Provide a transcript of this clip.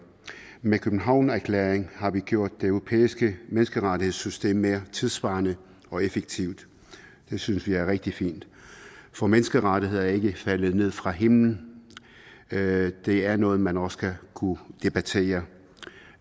med københavnererklæringen har vi gjort det europæiske menneskerettighedssystem mere tidssvarende og effektivt det synes vi er rigtig fint for menneskerettigheder er ikke faldet ned fra himlen det det er noget man også skal kunne debattere